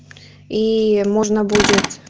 и можно будет